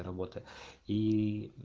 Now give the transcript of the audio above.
работа ии